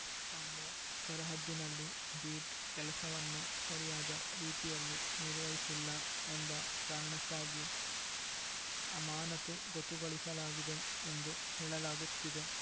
ತಮ್ಮ ಸರಹದ್ದಿನಲ್ಲಿ ಬೀಟ್‌ ಕೆಲಸವನ್ನು ಸರಿಯಾದ ರೀತಿಯಲ್ಲಿ ನಿರ್ವಹಿಸಿಲ್ಲ ಎಂಬ ಕಾರಣಕ್ಕಾಗಿ ಅಮಾನತುಗೊತುಗೊಳಿಸಲಾಗಿದೆ ಎಂದು ಹೇಳಲಾಗುತ್ತಿದೆ